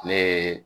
Ne